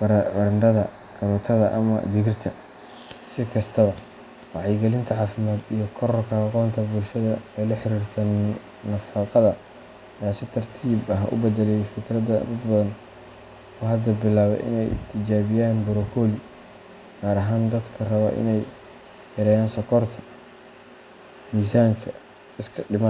barandhada, karootada, ama digirta. Si kastaba, wacyigelinta caafimaad iyo kororka aqoonta bulshada ee la xiriirta nafaqada ayaa si tartiib ah u beddelay fikradda dad badan oo hadda bilaabay in ay tijaabiyaan brokoli, gaar ahaan dadka raba in ay yareeyaan sonkorta, miisaanka iska dhimaan.